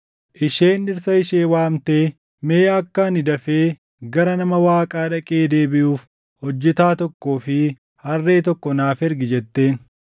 Isheen dhirsa ishee waamtee, “Mee akka ani dafee gara nama Waaqaa dhaqee deebiʼuuf hojjetaa tokkoo fi harree tokko naaf ergi” jetteen.